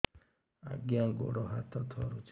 ଆଜ୍ଞା ଗୋଡ଼ ହାତ ଥରୁଛି